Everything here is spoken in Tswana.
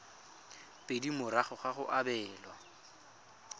pedi morago ga go abelwa